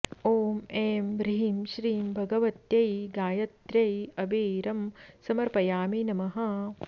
ॐ ऐं ह्रीं श्रीं भगवत्यै गायत्र्यै अबीरं समर्पयामि नमः